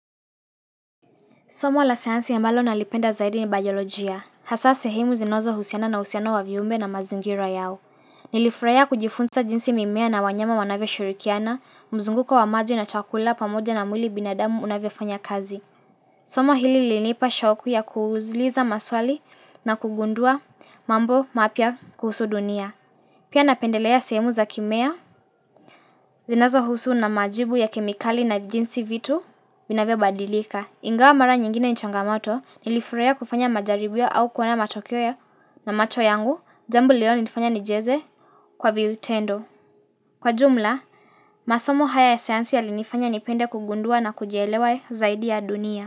Soma la sayansi ambalo nalipenda zaidi ni bayolojia. Hasa sehemu zinazohusiana na uhusiano wa viumbe na mazingira yao. Nilifurahia kujifunza jinsi mimea na wanyama wanavyoshirikiana, mzunguko wa maji na chakula pamoja na mwili binadamu unavyofanya kazi. Somo hili lilinipa shoku ya kuuzliza maswali na kugundua mambo mapya kuhusu dunia. Pia napendelea sehemu za kimea zinazo husu na majibu ya kimikali na jinsi vitu binavyo badilika. Ingawa mara nyingine ni changamato nilifurahia kufanya majaribio au kuona na matokeo ya na macho yangu, jambo lililonifanya nijaze kwa viutendo. Kwa jumla, masomo haya ya sayansi yalinifanya nipende kugundua na kujielewa zaidi ya dunia.